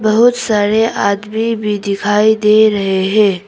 बहुत सारे आदमी भी दिखाई दे रहे हैं।